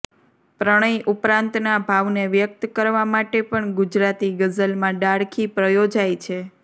પ્રણય ઉપરાંતના ભાવને વ્યક્ત કરવા માટે પણ ગુજરાતી ગઝલમાં ડાળખી પ્રયોજાઇ છે